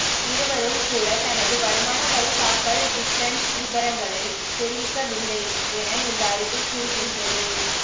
இவரும் கூட தனது வருமான வரித் தாக்கல் ரிட்டன்ஸ் விபரங்களைத் தெரிவிக்கவில்லை என இந்த அறிக்கை கூறுகின்றது